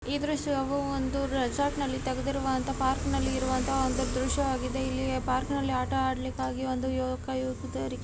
ಈ ದೃಶ್ಯವು ಒಂದು ರೆಸಾರ್ಟ್ನ ಲ್ಲಿ ತೆಗೆದಿರುವಂತಹ ಪಾರ್ಕ್ ನಲ್ಲಿ ಇರುವಂತಹ ದೃಶ್ಯವಾಗಿದೆ ಇಲ್ಲಿ ಪಾರ್ಕ್ ಲ್ಲಿ ಆಡಲಿಕ್ಕೆಂದು ಒಬ್ಬ ಯುವಕ ಯುವತಿಯರು --